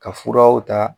Ka furaw ta